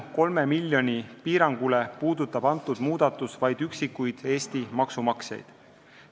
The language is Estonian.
Kolme miljoni euro suuruse piirangu tõttu puudutab see muudatus vaid üksikuid Eesti maksumaksjaid.